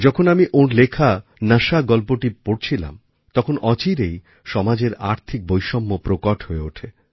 যখন আমি ওঁর লেখা নাশা নামক গল্পটি পড়ছিলাম তখন অচিরেই সমাজের আর্থিক বৈষম্য প্রকট হয়ে ওঠে